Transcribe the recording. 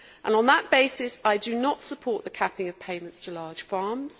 On that basis, I do not support the capping of payments to large farms.